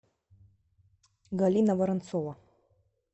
галина воронцова